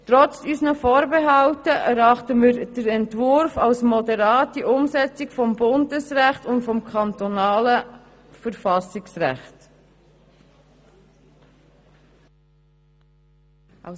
Trotz unserer Vorbehalte erachten wir den Entwurf als moderate Umsetzung des Bundesrechts und des kantonalen Verfassungsrechts.